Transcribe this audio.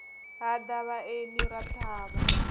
ha ḓa vhaeni ra ṱhavha